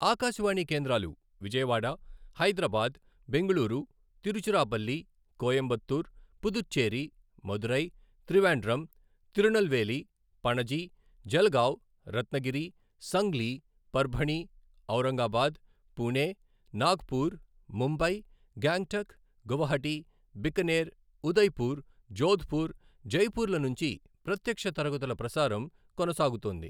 ఆకాశవాణి కేంద్రాలు విజయవాడ, హైదరాబాద్, బెంగళూరు, తిరుచిరాపల్లి, కోయంబత్తూర్, పుదుచ్చేరి, మదురై, త్రివేండ్రం, తిరునల్వేలి, పణజి, జల్గావ్, రత్నగిరి, సంగ్లీ, పర్భణి, ఔరంగాబాద్, పుణె, నాగ్పూర్, ముంబై, గ్యాంగ్టక్, గువహటి, బికనేర్, ఉదయ్పూర్, జోధ్పూర్, జైపూర్ల నుంచి ప్రత్యక్ష తరగతుల ప్రసారం కొనసాగుతోంది.